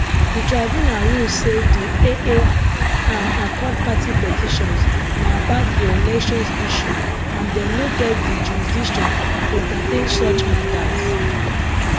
di tribunal rule say di aa and accord party petitions na about preelection issues and dem no get di jurisdiction to entertain such matters